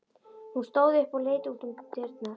Hún stóð upp og leit út um dyrnar.